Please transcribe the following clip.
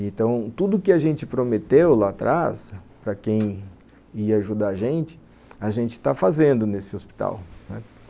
Então, tudo que a gente prometeu lá atrás, para quem ia ajudar a gente, a gente está fazendo nesse hospital, né